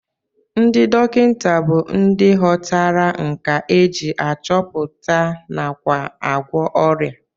Ndị dọkịta bụ ndị ghọtara nkà e ji achọpụta nakwa agwọ ọrịa